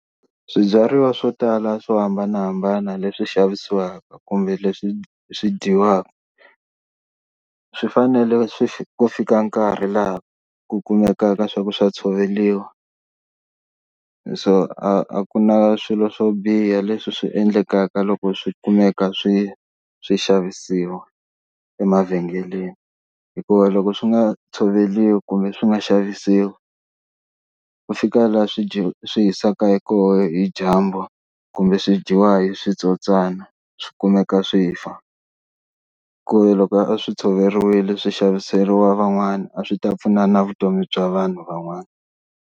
Swibyariwa swo tala swo hambanahambana leswi xavisiwaka kumbe leswi swi dyiwaka swi fanele swi ku fika nkarhi laha ku kumekaka swa ku swa tshoveliwa, so a ku na swilo swo biha leswi swi endlekaka loko swi kumeka swi swi xavisiwa emavhengeleni hikuva loko swi nga tshoveriwi kumbe swi nga xavisiwi, ku fika laha swi dyi swi hisiwaka koho hi dyambu kumbe swi dyiwa hi switsotswana swi kumeka swi fa, ku ve loko a swi tshoveriwile swi xaviseriwa van'wana a swi ta pfuna na vutomi bya vanhu van'wana.